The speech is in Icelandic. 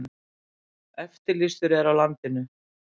Eftirlýstur er á landinu